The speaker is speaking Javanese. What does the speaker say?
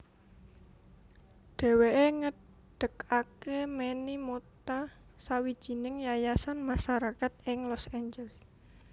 Dheweke ngedegake Manny Mota sawijining yayasan masarakat ing Los Angeles